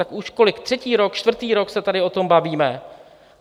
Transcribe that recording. Tak už kolik - třetí rok, čtvrtý rok se tady o tom bavíme?